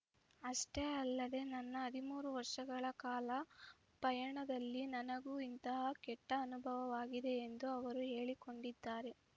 ಅಷ್ಟೇ ಅಲ್ಲದೆ ನನ್ನ ಹದಿಮೂರು ವರ್ಷಗಳ ಕಲಾ ಪಯಣದಲ್ಲಿ ನನಗೂ ಇಂತಹ ಕೆಟ್ಟಅನುಭವವಾಗಿದೆ ಎಂದೂ ಅವರು ಹೇಳಿಕೊಂಡಿದ್ದಾರೆ